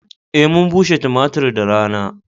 Eh mun bushe tumatir da rana.